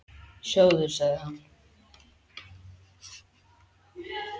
Sjáðu, sagði hann.